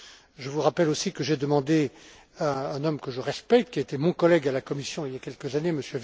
Je vous rappelle aussi que j'ai demandé à un homme que je respecte, qui a été mon collègue à la Commission il y a quelques années, M.